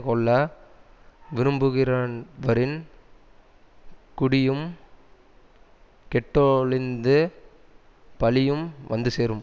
கொள்ள விரும்புகிர்றவரின் குடியும் கெட்டொழிந்து பழியும் வந்து சேரும்